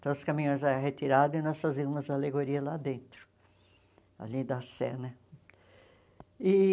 Então, os caminhões eram retirados e nós fazíamos alegoria lá dentro, ali da Sé né e.